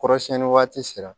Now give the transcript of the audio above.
Kɔrɔ siɲɛni waati sera